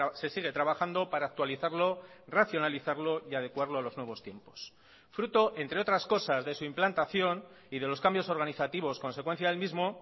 se sigue trabajando para actualizarlo racionalizarlo y adecuarlo a los nuevos tiempos fruto entre otras cosas de su implantación y de los cambios organizativos consecuencia del mismo